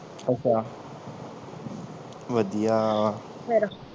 ਅੱਛਾ ਵਧੀਆ ਵਾ ਫੇਰ